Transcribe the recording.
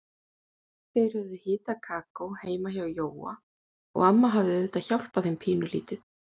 Þeir höfðu hitað kakó heima hjá Jóa og amma hafði auðvitað hjálpað þeim pínulítið.